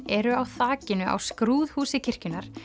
eru á þakinu á skrúðhúsi kirkjunnar